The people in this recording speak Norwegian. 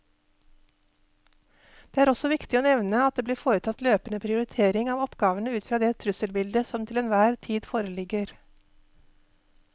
Det er også viktig å nevne at det blir foretatt løpende prioritering av oppgavene ut fra det trusselbildet som til enhver tid foreligger.